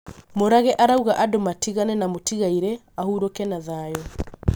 Murage arauga andũ matigane na mũtigairĩ ahũrũke na thayũ